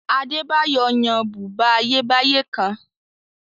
Adébáyọ̀ yan bùbá Ayébáyé kan